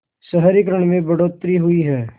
शहरीकरण में बढ़ोतरी हुई है